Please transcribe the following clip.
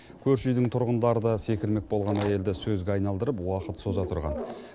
көрші үйдің тұрғындары да секірмек болған әйелді сөзге айналдырып уақыт соза тұрған